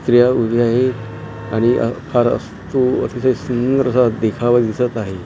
उद्या एक आणि फार असतो असा एक सुंदर सा देखावा दिसत आहे .